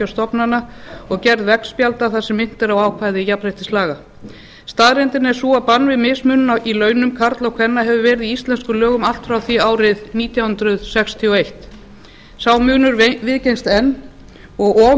stofnana og gerð veggspjalda þar sem minnt er á ákvæði jafnréttislaga staðreyndin er sú að bann við mismunun í launum karla og kvenna hefur verið í íslenskum lögum allt frá því árið nítján hundruð sextíu og einn sá munur viðgengst enn og of